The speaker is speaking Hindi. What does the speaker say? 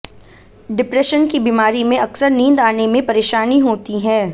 डिप्रेशन की बीमारी में अक्सर नींद आने में परेशानी होती है